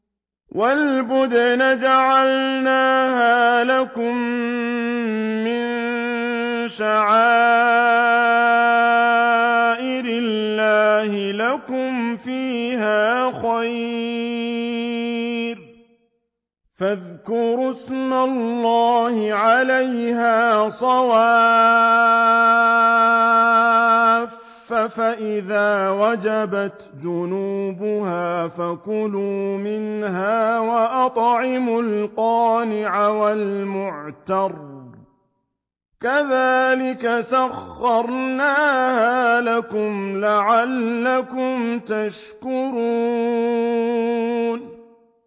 وَالْبُدْنَ جَعَلْنَاهَا لَكُم مِّن شَعَائِرِ اللَّهِ لَكُمْ فِيهَا خَيْرٌ ۖ فَاذْكُرُوا اسْمَ اللَّهِ عَلَيْهَا صَوَافَّ ۖ فَإِذَا وَجَبَتْ جُنُوبُهَا فَكُلُوا مِنْهَا وَأَطْعِمُوا الْقَانِعَ وَالْمُعْتَرَّ ۚ كَذَٰلِكَ سَخَّرْنَاهَا لَكُمْ لَعَلَّكُمْ تَشْكُرُونَ